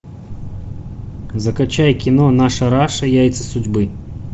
закачай кино наша раша яйца судьбы